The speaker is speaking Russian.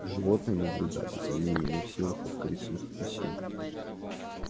животные наблюдали за ними не в силах скрыть своих опасений